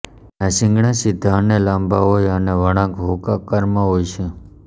તેનાં શીંગડા સીધા અનેં લાંબા હોય અને વળાંક હુક આકારનાં હોય છે